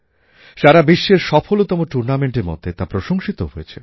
সারা বিশ্বের সফলতম টুর্নামেন্টের মধ্যে তা প্রশংসিতও হয়েছে